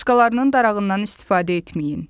Başqalarının darağından istifadə etməyin.